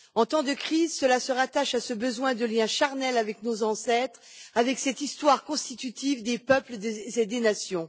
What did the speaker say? En temps de crise, cela se rattache à ce besoin de lien charnel avec nos ancêtres, avec cette histoire constitutive des peuples et des nations.